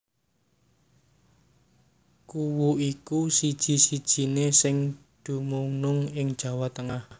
Kuwu iku siji sijiné sing dumunung ing Jawa Tengah